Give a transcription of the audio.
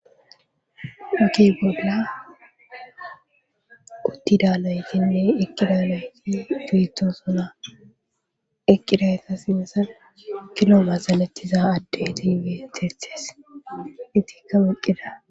huki bolla uttidaalaytinne eqqidalayti firtoosuna eqqidayta sinsan kiloma salatiza addetifetethes itikka maqqida